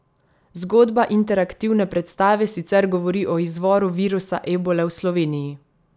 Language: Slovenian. Zgodba interaktivne predstave sicer govori o izvoru virusa ebole v Sloveniji!